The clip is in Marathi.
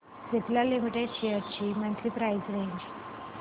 सिप्ला लिमिटेड शेअर्स ची मंथली प्राइस रेंज